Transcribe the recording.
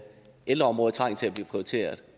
ældreområdet trænger til at blive prioriteret